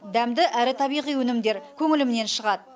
дәмді әрі табиғи өнімдер көңілімнен шығады